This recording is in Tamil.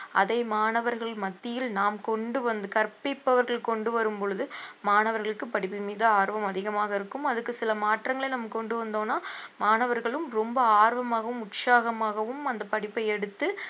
அதை மாணவர்கள் மத்தியில் நாம் கொண்டு வந்து கற்பிப்பவர்கள் கொண்டு வரும் பொழுது மாணவர்களுக்கு படிப்பில் மிக ஆர்வம் அதிகமாக இருக்கும் அதுக்கு சில மாற்றங்களை நம்ம கொண்டு வந்தோம்னா மாணவர்களும் ரொம்ப ஆர்வமாகவும் உற்சாகமாகவும் அந்த படிப்பை எடுத்து